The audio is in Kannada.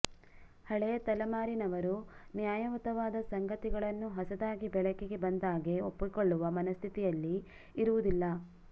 ಹಳೆಯ ತಲೆಮಾರಿನವರು ನ್ಯಾಯಯುತವಾದ ಸಂಗತಿಗಳನ್ನು ಹೊಸದಾಗಿ ಬೆಳಕಿಗೆ ಬಂದಾಗ್ಗೆ ಒಪ್ಪಿಕೊಳ್ಳುವ ಮನಸ್ಥಿತಿಯಲ್ಲಿ ಇರುವುದಿಲ್ಲ